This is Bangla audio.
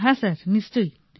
হ্যাঁ স্যার নিশ্চয়